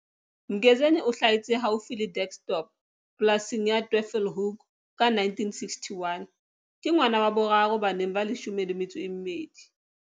Mgezeni o hlahetse haufi le Dirksdorp polasing ya Twyfelhoek ka 1961. Ke ngwana wa boraro baneng ba leshome le metso e mmedi.